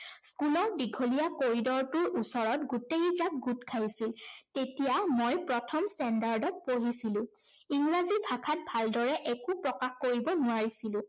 school ৰ দীঘলীয়া কৰিডৰটোৰ ওচৰত গোটেইজাঁক গোট খাইছিল। তেতিয়া মই প্ৰথম standard ত পঢ়িছিলো। ইংৰাজী ভাষাত ভালদৰে একো প্ৰকাশ কৰিব নোৱাৰিছিলো।